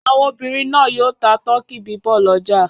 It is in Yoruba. Àwọn obìnrin náà yóò ta tọkí bíbọ̀ lọ́jà.